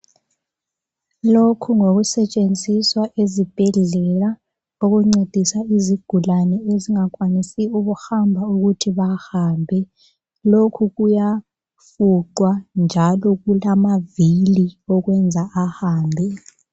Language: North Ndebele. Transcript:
Lokhu ngokusetshenziswa ezibhedlela okuncedisa izigulane ezingakwanisi ukuhamba ukuthi zihambe. Lokhu kuyafuqwa njalo kulamavili okwenza kuhambe.